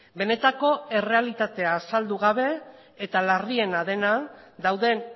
benetako errealitatea azaldu gabe eta larriena dena dauden